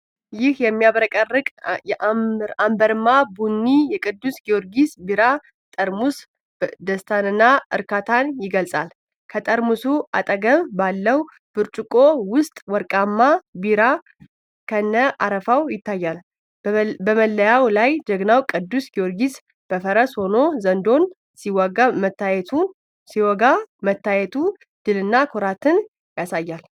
ይህ የሚያብረቀርቅ አምበርማ ቡኒ የቅዱስ ጊዮርጊስ ቢራ ጠርሙስ ደስታንና እርካታን ይገልጻል። ከጠርሙሱ አጠገብ ባለው ብርጭቆ ውስጥ ወርቃማ ቢራ ከነ አረፋው ይታያል። በመለያው ላይ ጀግናው ቅዱስ ጊዮርጊስ በፈረስ ሆኖ ዘንዶን ሲወጋ መታየቱ ድልንና ኩራትን ያሳያል።